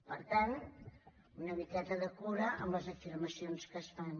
per tant una miqueta de cura amb les afirmacions que es fan